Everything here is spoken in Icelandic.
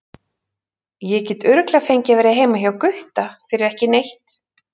Ég get örugglega fengið að vera heima hjá Gutta fyrir ekki neitt.